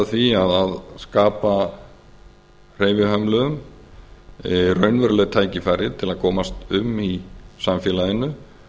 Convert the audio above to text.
því að skapa hreyfihömluðum raunverulegt tækifæri til að komast um í samfélaginu